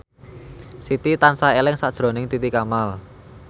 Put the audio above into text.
Siti tansah eling sakjroning Titi Kamal